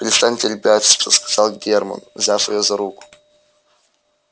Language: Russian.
перестаньте ребячиться сказал германн взяв её за руку